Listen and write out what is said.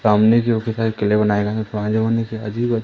सामने जो की साइकिलें लिए बनाए गए अजीब अजीब--